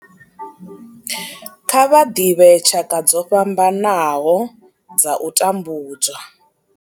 Kha vha ḓivhe tshaka dzo fhambanaho dza u tambudzwa.